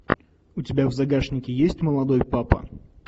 у тебя в загашнике есть молодой папа